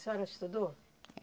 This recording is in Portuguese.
A senhora estudou?